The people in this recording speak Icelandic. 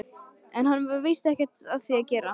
En það var víst ekkert við því að gera.